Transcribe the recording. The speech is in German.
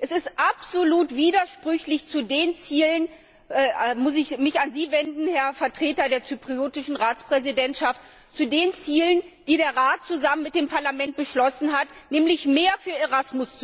Es ist absolut widersprüchlich zu den Zielen da muss ich mich an Sie wenden, Herr Vertreter der zyprischen Ratspräsidentschaft die der Rat zusammen mit dem Parlament beschlossen hat, nämlich mehr für ERASMUS,